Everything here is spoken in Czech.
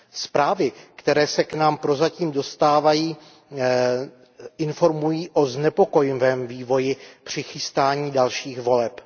Zprávy, které se k nám prozatím dostávají, informují o znepokojivém vývoji při chystání dalších voleb.